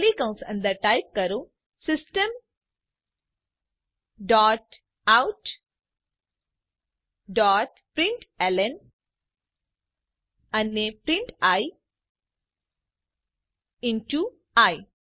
curly કૌંશ અંદર type કરો system dot out dot println અને print i in to I